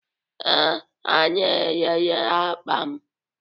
Ee, ha na-elele akpa m.